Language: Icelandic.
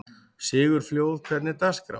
Sigurfljóð, hvernig er dagskráin?